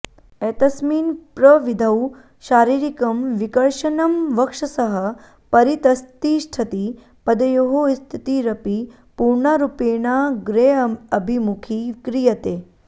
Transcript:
एतस्मिन् प्रविधौ शरीरिकं विकर्षणं वक्षसः परितस्तिष्ठति पदयोः स्थितिरपि पूर्णारुपेणाग्रेऽभिमुखी क्रियते